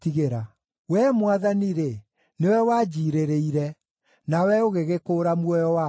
Wee Mwathani-rĩ, nĩwe wanjiirĩrĩire; nawe ũgĩgĩkũũra muoyo wakwa.